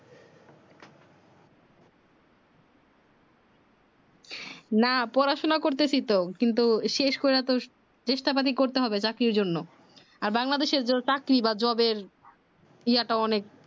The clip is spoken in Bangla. না পড়াশোনা করতেছি তো কিন্তু শেষ পর্যন্ত চেষ্টা পাতি করতে হবে চাকরির জন্য আর বাংলাদেশের চাকরি বা job এর ইয়া টা অনেক